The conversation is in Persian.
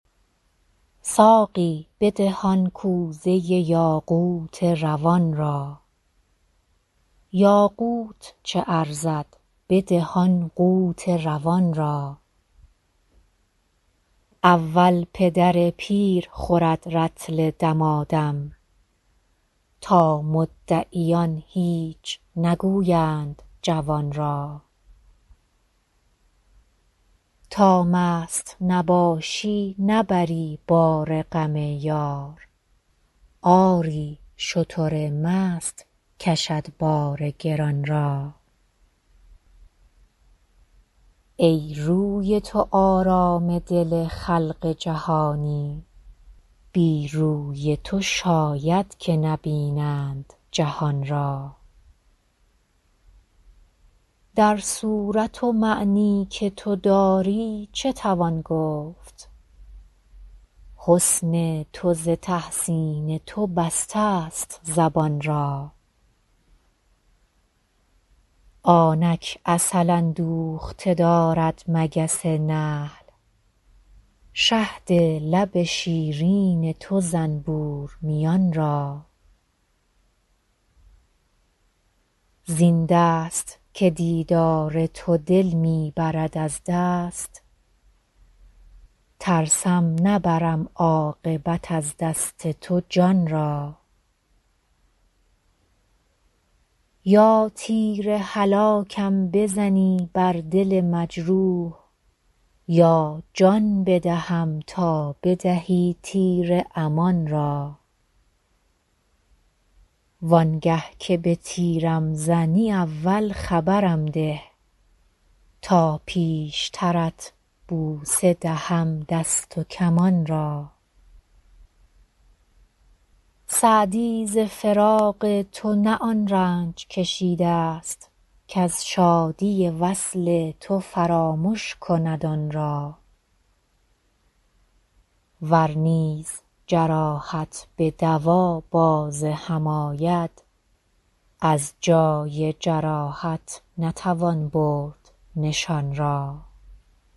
ساقی بده آن کوزه یاقوت روان را یاقوت چه ارزد بده آن قوت روان را اول پدر پیر خورد رطل دمادم تا مدعیان هیچ نگویند جوان را تا مست نباشی نبری بار غم یار آری شتر مست کشد بار گران را ای روی تو آرام دل خلق جهانی بی روی تو شاید که نبینند جهان را در صورت و معنی که تو داری چه توان گفت حسن تو ز تحسین تو بستست زبان را آنک عسل اندوخته دارد مگس نحل شهد لب شیرین تو زنبور میان را زین دست که دیدار تو دل می برد از دست ترسم نبرم عاقبت از دست تو جان را یا تیر هلاکم بزنی بر دل مجروح یا جان بدهم تا بدهی تیر امان را وان گه که به تیرم زنی اول خبرم ده تا پیشترت بوسه دهم دست و کمان را سعدی ز فراق تو نه آن رنج کشیدست کز شادی وصل تو فرامش کند آن را ور نیز جراحت به دوا باز هم آید از جای جراحت نتوان برد نشان را